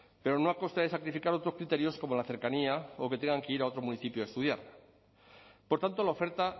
pero no a costa de sacrificar otros criterios como la cercanía o que tengan que ir a otro municipio a estudiar por tanto la oferta